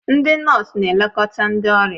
Ndị nọọsụ na-elekọta ndị ọrịa